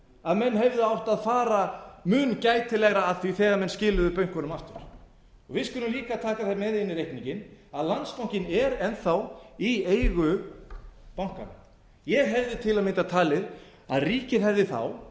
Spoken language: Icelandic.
að menn hefðu átt að fara mun gætilegar að því þegar menn skiluðu bönkunum aftur við skulum líka taka það með inn í reikninginn að landsbankinn er enn í eigu bankanna ég hefði til að mynda talið að ríkið hefði